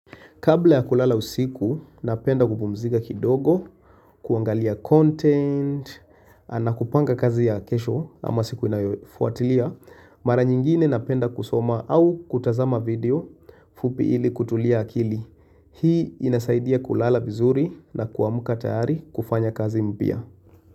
Kabla ya kulala usiku, napenda kupumzika kidogo, kuangalia content, anakupanga kazi ya kesho ama siku inayofuatilia, mara nyingine napenda kusoma au kutazama video fupi ili kutulia akili. Hii inasaidia kulala vizuri na kuamuka tayari kufanya kazi mpya.